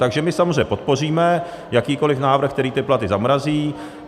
Takže my samozřejmě podpoříme jakýkoli návrh, který ty platy zamrazí.